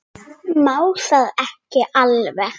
Má það ekki alveg?